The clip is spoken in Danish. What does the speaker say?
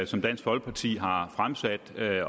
som dansk folkeparti har fremsat